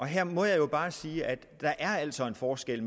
her må jeg bare sige at der altså er en forskel